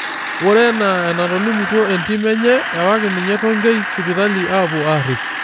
Ore enaa enatolimuo entim enye ewaaki ninye Tonkei sipitali aapuo aarrip.